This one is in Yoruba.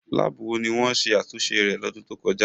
Láàbù wo ni wọ́n ṣe àtúnṣe rẹ̀ lọ́dún tó kọjá?